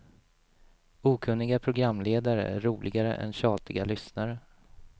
Okunniga programledare är roligare än tjatiga lyssnare.